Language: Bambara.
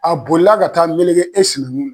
A bolila ka taa melege e sinankun na